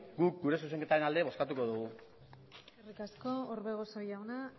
guk gure zuzenketaren alde bozkatuko dugu eskerrik asko orbegozo jauna